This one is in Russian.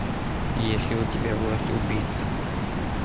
есть ли у тебя власть убийц